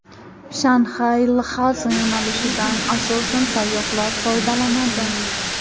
Shanxay – Lxasa yo‘nalishidan asosan sayyohlar foydalanadi.